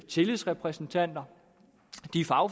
tillidsrepræsentanter